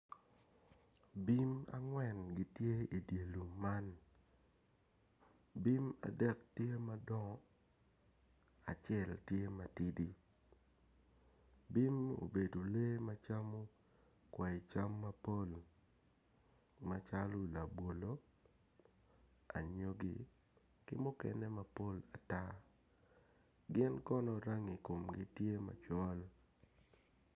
Bim angwen gitye i di lum man bim adek tye madongo acel tye matidi bim obedo lee macamo kwai cam mapol macalo labolo anyogi ki mukene mapol ata gin kono rangi komgi tye macol